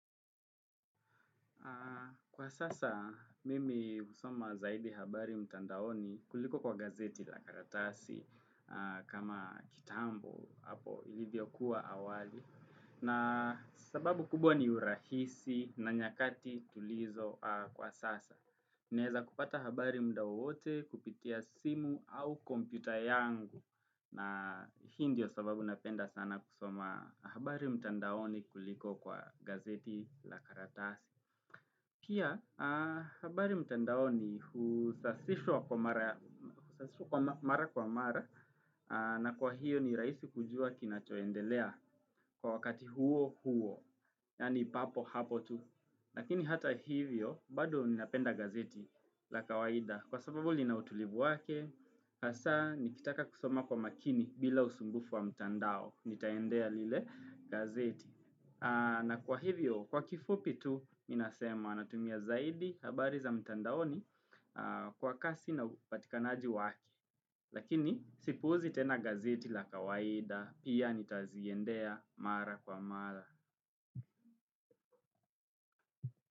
Kwa sasa, mimi husoma zaidi habari mtandaoni, kuliko kwa gazeti la karatasi, kama kitambo hapo ilivyo kuwa awali na sababu kubwa ni urahisi na nyakati tulizo kwa sasa. Naeza kupata habari muda wowote, kupitia simu au kompyuta yangu. Na hii ndio sababu napenda sana kusoma habari mtandaoni kuliko kwa gazeti la karatasi. Kia, habari mtandaoni, husasishwa kwa mara kwa mara na kwa hiyo ni rahisi kujua kinachoendelea, kwa wakati huo huo, yani papo hapo tu. Lakini hata hivyo, bado ninapenda gazeti la kawaida, kwa sababu linautulibu wake, hasa, nikitaka kusoma kwa makini bila usumbufu wa mtandao, nitaendea lile gazeti. Na kwa hivyo, kwa kifupi tu, minasema natumia zaidi, habari za mtandaoni kwa kasi na upatikanaji wake. Lakini, sipuuzi tena gazeti la kawaida, pia nitaziendea, mara kwa mara.